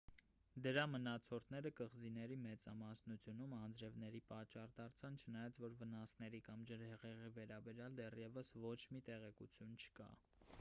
դրա մնացորդները կղզիների մեծամասնությունում անձրևների պատճառ դարձան չնայած որ վնասների կամ ջրհեղեղի վերաբերյալ դեռևս ոչ մի տեղեկություն չկա